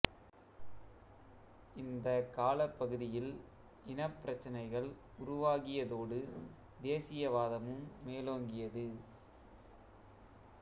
இந்தக் காலப் பகுதியில் இனப் பிரச்சினைகள் உருவாகியதோடு தேசியவாதமும் மேலோங்கியது